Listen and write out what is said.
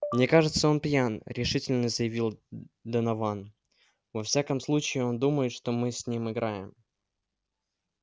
мне кажется он пьян решительно заявил донован во всяком случае он думает что мы с ним играем